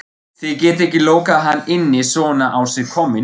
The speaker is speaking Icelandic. Þið getið ekki lokað hann inni svona á sig kominn